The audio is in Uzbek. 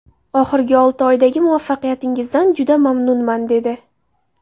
Oxirgi olti oydagi muvaffaqiyatingizdan juda mamnunman”, dedi.